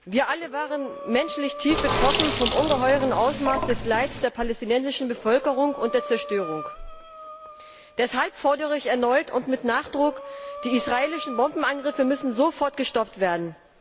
Wir alle waren menschlich tief betroffen von dem ungeheuren Ausmaß des Leids der palästinensischen Bevölkerung und der Zerstörung. Deshalb fordere ich erneut und mit Nachdruck Die israelischen Bombenangriffe müssen sofort gestoppt werden.